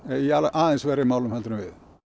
aðeins verri málum heldur en við